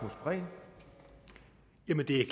en af de